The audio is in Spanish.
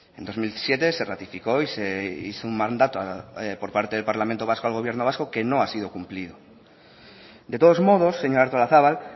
en dos mil siete se ratificó y se hizo un mandato por parte del parlamento vasco al gobierno vasco que no ha sido cumplido de todos modos señora artolazabal